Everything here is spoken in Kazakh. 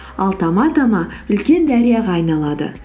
ал тама тама үлкен дарияға айналады